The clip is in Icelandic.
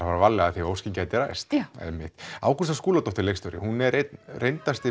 fara varlega því óskin gæti ræst já Ágústa Skúladóttir er einn reyndasti